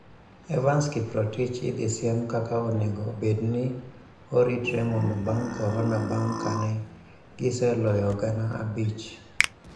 Evanson Kiprotich idhi mi siem kaka onego bedni oritre mondo bang korona bang kane giseloyo gana abich